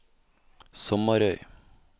Sommarøy